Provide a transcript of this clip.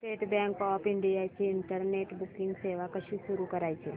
state Bank of India ची internet banking सेवा कशी सुरू करायची